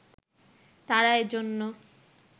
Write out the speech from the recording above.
তারা এজন্য